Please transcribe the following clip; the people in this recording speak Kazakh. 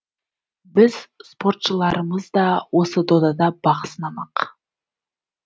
біздің спортшыларымыз да осы додада бақ сынамақ